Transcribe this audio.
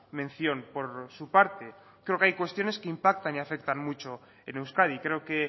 mención por su parte creo que hay cuestiones que impactan y afectan mucho en euskadi creo que